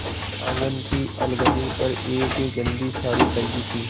आँगन की अलगनी पर एक गंदी साड़ी टंगी थी